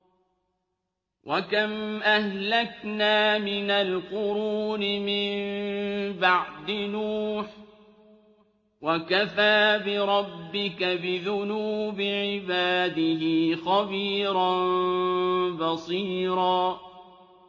وَكَمْ أَهْلَكْنَا مِنَ الْقُرُونِ مِن بَعْدِ نُوحٍ ۗ وَكَفَىٰ بِرَبِّكَ بِذُنُوبِ عِبَادِهِ خَبِيرًا بَصِيرًا